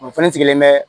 O fɛnɛ sigilen bɛ